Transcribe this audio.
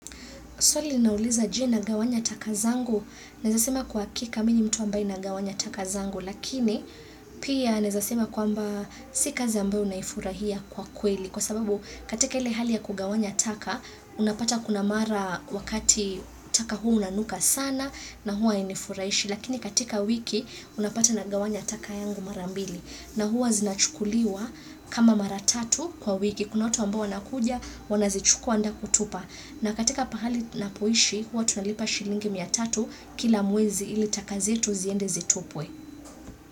Swali nauliza je na gawanya taka zangu, nezasema kwa kika minu mtu ambaye na gawanya taka zangu, lakini pia nezasema kwa mba si kazi ambayo naifurahia kwa kweli. Kwa sababu katika ile hali ya kugawanya taka, unapata kuna mara wakati taka huu unanuka sana na hua inifurahishi, lakini katika wiki unapata na gawanya taka yangu marambili. Na huwa zinachukuliwa kama maratatu kwa wiki. Kuna watu ambao wanakuja, wanazichukua anda kutupa. Na katika pahali na poishi, huwa tunalipa shilingi mia tatu kila mwezi ili taka zetu ziende zitupwe.